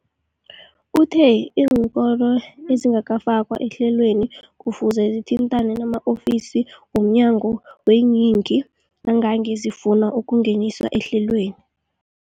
Uthe iinkolo ezingakafakwa ehlelweneli kufuze zithintane nama-ofisi wo mnyango weeyingi nangange zifuna ukungeniswa ehlelweni.